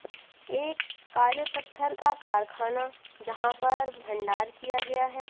एक काले पत्थर का कारखाना जहां पर भंडार किया गया है।